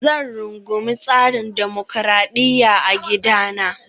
Zan rungumi tsarin dimokuradiyya a gidana